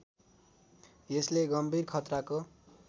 यसले गम्भीर खतराको